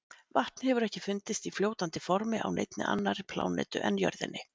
Vatn hefur ekki fundist í fljótandi formi á neinni annarri plánetu en jörðinni.